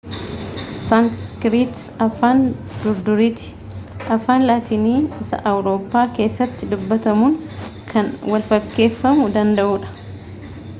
saanskiriit afaan durduriiti afaan laatiinii isaawurooppaa keessatti dubbatamuun kan walfakkeeffamuu danda'udha